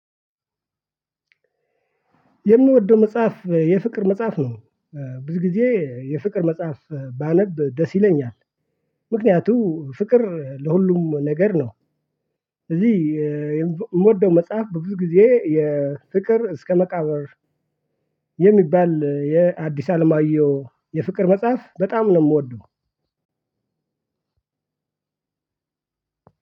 የምወደው መጽሐፍ የፍቅር መጽሐፍ ነው። ብዙ ጊዜ የፍቅር መጽሐፍ ባነብ ደስ ይለኛል። ምክንያቱም ፍቅር ለሁሉም ነገር ነው። እዚህ የምወደው መጽሐፍ በብዙ ጊዜ የፍቅር እስከ መቃብር የሚባል የአዲስ አለማየሁ የፍቅር መጽሐፍ በጣም ነው የምወደው።